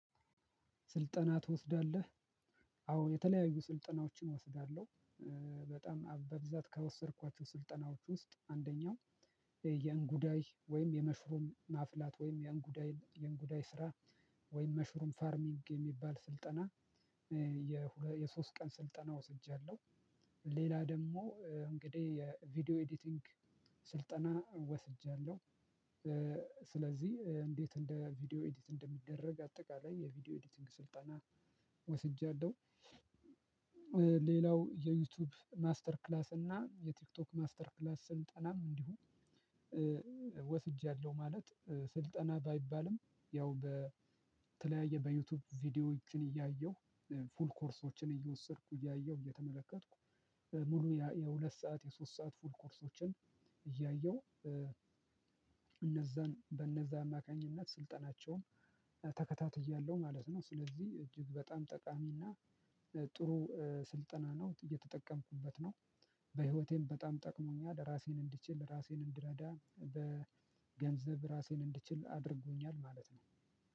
ስልጠና ትወስዳለህ? አዎ የተለያዩ ስልጠናዎችን እወስዳለሁ በጣም በብዛት ከወሰድኳቸው ስልጠናዎች ውስጥ አንደኛው የእንጉዳይ ወይም የመሽሩም ማፍላት ወይም የእንጉዳይ የእንጉዳይ ስራ ወይም መሽሩም ፋርሚንግ የሚባል ስልጠና የሶስት ቀን ስልጠና ወስጃለሁ ሌላ ደግሞ እ እንግዲህ የቪዲዮ ኤዲቲንግ ስልጠና ወስጃለሁ የእ ስለዚህ እንዴት እንደ ቪዲዮ ኤዲት እንደሚደረግ አጠቃላይ የቪዲዮ ኤዲቲንግ ስልጠና ወስጃለሁ። ሌላው የዩቲዩብ ማስተር ክላስ እና የቲክቶክ ማስተር ክላስን ስልጠናም እንዲሁ ወስጃለሁ ማለት ስልጠና ባይባልም ያው በተለያየ በዩቲዩብ ቪዲዮዎችን እያየሁ ፉል ኮርሶችን እየወሰድኩ እያየሁ እየተመለከትኩ ሙሉ የሁለት ሰዓት የሶስት ሰዓት ፉል ኮርሶችን እያየሁ እነዛን በእነዛ አማካኝነት ስልጠናቸውን ተከታትያለሁ ማለት ነው ስለዚህ እጅግ በጣም ጠቃሚና ጥሩ ስልጠና ነው እየተጠቀምኩበት ነው። በህይወቴም በጣም ጠቅሞኛል ራሴን እንድችል ራሴን እንድረዳ በገንዘብ ራሴን እንድችል አድርጎኛል ማለት ነው።